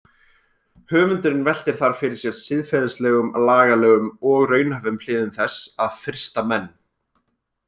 Höfundurinn veltir þar fyrir sér siðferðislegum, lagalegum og raunhæfum hliðum þess að frysta menn.